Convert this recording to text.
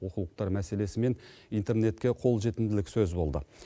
оқулықтар мәселесі мен интернетке қолжетімділік сөз болды